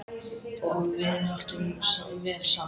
Og við áttum vel saman.